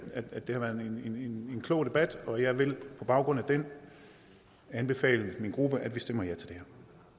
har været en klog debat og jeg vil på baggrund af den anbefale min gruppe at vi stemmer ja til